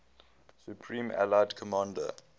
supreme allied commander